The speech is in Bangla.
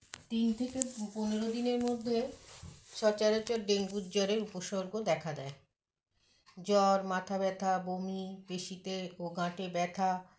তিন থেকে পপনের দিনের মধ্যে সচরাচর ডেঙ্গুর জ্বরের উপসর্গ দেখা দেয় জ্বর মাথাব্যথা বমি পেশিতে ও গাঁটে ব্যথা